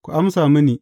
Ku amsa mini.